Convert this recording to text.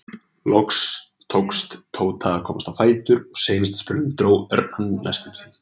Loks tókst Tóta að komast á fætur og seinasta spölinn dró Örn hann næstum því.